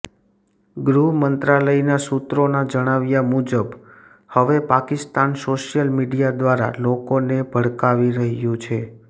ગૃહ મંત્રાલયના સૂત્રોના જણાવ્યાં મુજબ હવે પાકિસ્તાન સોશિયલ મીડિયા દ્વારા લોકોને ભડકાવી રહ્યું છે